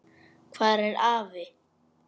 Hvar er afi?